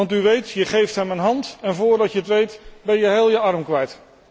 Want u weet, je geeft hem een hand en voordat je het weet ben je heel je arm kwijt.